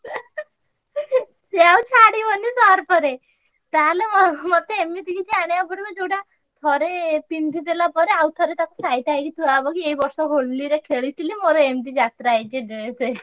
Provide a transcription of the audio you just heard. ସିଏ ଆଉ ଛାଡିବନି surf ରେ ତାହେଲେ ମତେ ଏମିତି କିଛି ଆଣିବାକୁ ପଡିବ ଯୋଉଟା ଥରେ ପିନ୍ଧିଦେଲାପରେ ଆଉଥରେ ତାକୁ ସାଇତାହେଇ ଥୁଆହବ କି ଏଇ ବର୍ଷ ହୋଲିରେ ଖେଳିଥିଲି ମୋର ଯାତ୍ରା ହେଇଛି ଏମିତି dress।